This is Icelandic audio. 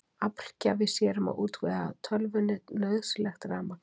Aflgjafi sér um að útvega tölvunni nauðsynlegt rafmagn.